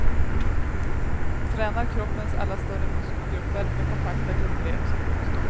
Tränar kroppens alla större muskelgrupper med kompakta gummirep som motstånd.